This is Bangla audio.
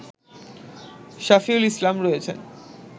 শাফিউল ইসলাম রয়েছেন